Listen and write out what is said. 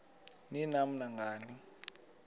ni nam nangani